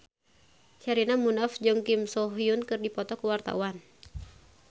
Sherina Munaf jeung Kim So Hyun keur dipoto ku wartawan